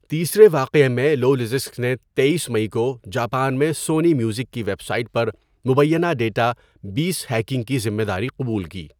تیسرے واقعے میں لولزسک نے ۲۳ مئی کو جاپان میں سونی میوزک کی ویب سائٹ پر مبینہ ڈیٹا بیس ہیکنگ کی ذمہ داری قبول کی۔